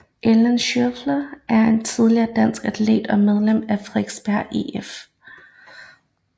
Ellen Schiøler er en tidligere dansk atlet og medlem af Frederiksberg IF